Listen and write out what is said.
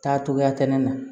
Taa cogoya tɛ kɛnɛ na